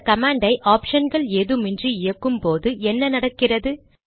இந்த கமாண்ட் ஐ ஆப்ஷன்கள் ஏதுமின்றி இயக்கும்போது என்ன நடக்கிறது